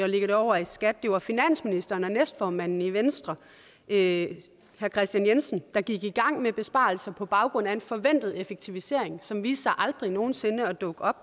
det over i skat det var finansministeren og næstformanden i venstre herre kristian jensen der gik i gang med besparelser på baggrund af en forventet effektivisering som viste sig aldrig nogen sinde at dukke op